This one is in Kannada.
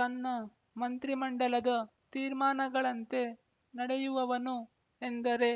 ತನ್ನ ಮಂತ್ರಿಮಂಡಲದ ತೀರ್ಮಾನಗಳಂತೆ ನಡೆಯುವವನು ಎಂದರೆ